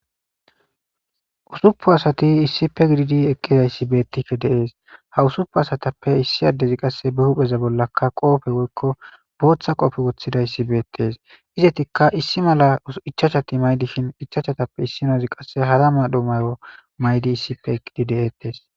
usupu asati issipe gididi eqqizayssi beettife deees ha usuppu asatappe issi addezi qasse be hupheza bollaka qoofe woykko booththa qoofe woththidayssi beettes izetikka issi mala ichachati maydishin ichachatappe issinoozi qasse hara madho mayo maydi issife eqqididi eettes